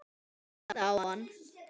Hann starði á hann.